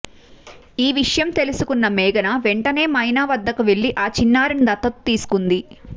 ఈ విషయం తెలుసుకున్న మేఘన వెంటనే మైనా వద్దకు వెళ్లి ఆ చిన్నారిని దత్తత తీసుకుంది